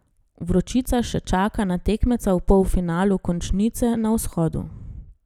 Vročica še čaka na tekmeca v polfinalu končnice na Vzhodu.